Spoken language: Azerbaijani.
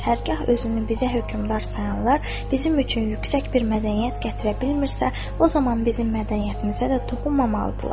Hərgah özünü bizə hökmdar sayanlar bizim üçün yüksək bir mədəniyyət gətirə bilmirsə, o zaman bizim mədəniyyətimizə də toxunmamalıdırlar.